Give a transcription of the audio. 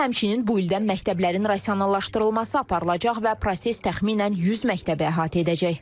Həmçinin bu ildən məktəblərin rasionalaşdırılması aparılacaq və proses təxminən 100 məktəbi əhatə edəcək.